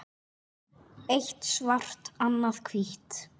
Eitt svart og annað hvítt.